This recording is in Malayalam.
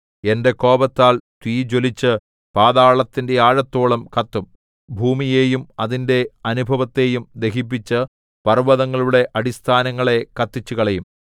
എന്റെ കോപത്താൽ തീ ജ്വലിച്ച് പാതാളത്തിന്റെ ആഴത്തോളം കത്തും ഭൂമിയെയും അതിന്റെ അനുഭവത്തെയും ദഹിപ്പിച്ചു പർവ്വതങ്ങളുടെ അടിസ്ഥാനങ്ങളെ കത്തിച്ചുകളയും